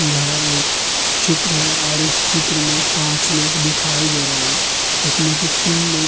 यह एक चित्र है और इस चित्र में पांच लोग दिखाई दे रहे हैं जिसमें कि तीन लोग --